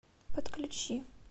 подключи